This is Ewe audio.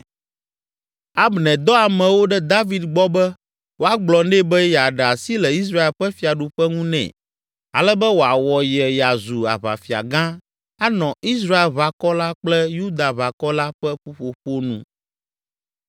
Abner dɔ amewo ɖe David gbɔ be woagblɔ nɛ be yeaɖe asi le Israel ƒe fiaɖuƒe ŋu nɛ ale be wòawɔ ye yeazu aʋafia gã anɔ Israelʋakɔ la kple Yudaʋakɔ la ƒe ƒuƒoƒo nu.